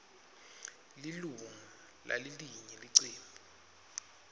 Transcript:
lilunga lalelinye licembu